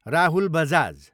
Rahul Bajaj